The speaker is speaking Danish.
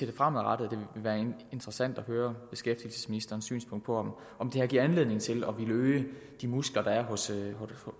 det fremadrettede vil være interessant at høre beskæftigelsesministerens synspunkt på om det her giver anledning til at ville øge de muskler der er hos